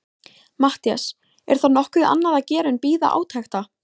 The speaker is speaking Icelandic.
MATTHÍAS: Er þá nokkuð annað að gera en bíða átekta.